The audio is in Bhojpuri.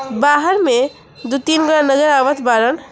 बाहर में दो तीन आवत बाड़न।